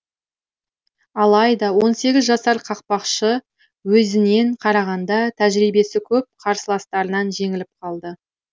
алайда он сегіз жасар қақпашы өзінен қарағанда тәжірибесі көп қарсыластарынан жеңіліп қалды